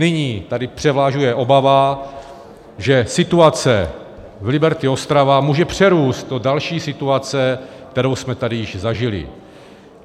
Nyní tady převažuje obava, že situace v Liberty Ostrava může přerůst do další situace, kterou jsme tady již zažili.